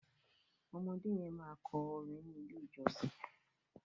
ọmọdé yen ma kọ orin ní ilè ìjósìn.